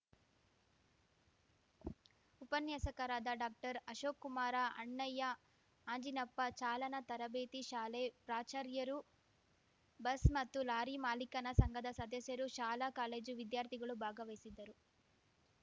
ಉಪನ್ಯಾಸಕರಾದ ಡಾಕ್ಟರ್ಅಶೋಕ್ ಕುಮಾರ ಅಣ್ಣಯ್ಯ ಅಂಜಿನಪ್ಪ ಚಾಲನಾ ತರಬೇತಿ ಶಾಲೆ ಪ್ರಾಚಾರ್ಯರು ಬಸ್‌ ಮತ್ತು ಲಾರಿ ಮಾಲೀಕನ ಸಂಘದ ಸದಸ್ಯರು ಶಾಲಾ ಕಾಲೇಜು ವಿದ್ಯಾರ್ಥಿಗಳು ಭಾಗವಹಿಸಿದ್ದರು